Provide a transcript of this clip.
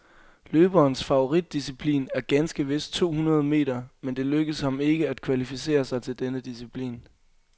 Løberens favoritdisciplin er ganske vist to hundrede meter, men det lykkedes ham ikke at kvalificere sig til denne disciplin.